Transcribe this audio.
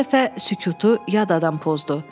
Bu dəfə sükutu yad adam pozdu.